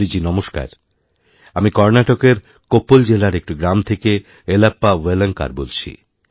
মোদীজী নমস্কার আমি কর্ণাটকের কোপ্পল জেলার একটি গ্রামথেকে য়েলপ্পা ওয়েলাঙ্কার বলছি